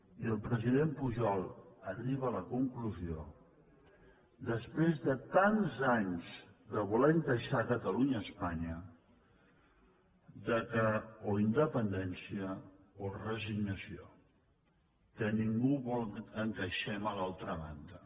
i el president pujol arriba a la conclusió després de tants anys de voler encaixar catalunya a espanya que o independència o resignació que ningú vol que encaixem a l’altra banda